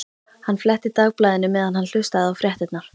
Hann fletti Dagblaðinu meðan hann hlustaði á fréttirnar.